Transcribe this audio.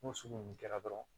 N'o sugu ninnu kɛra dɔrɔn